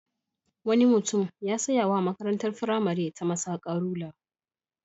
Wani mutum ya saya wa makarntar firamare ta masaka rula.